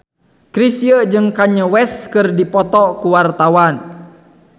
Chrisye jeung Kanye West keur dipoto ku wartawan